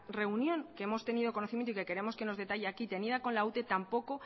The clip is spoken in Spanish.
reunión que hemos tenido conocimiento y que queremos que nos detalle aquí tenida con la ute tampoco